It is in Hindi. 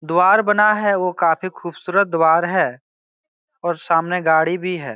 द्वार बना है वो काफी खुबसूरत द्वार है और सामने गाड़ी भी है ।